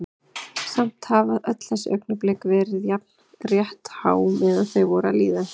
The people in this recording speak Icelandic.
Samt hafa öll þessi augnablik verið jafn rétthá meðan þau voru að líða.